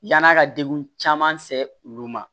Yann'a ka degun caman se olu ma